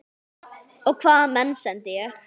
Og hvaða menn sendi ég?